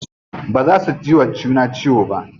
Baza su jiwa juna ciwo ba.